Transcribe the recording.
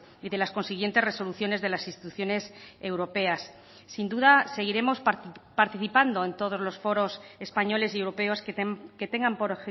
y de las consiguientes resoluciones de las instituciones europeas sin duda seguiremos participando en todos los foros españoles y europeos que tengan por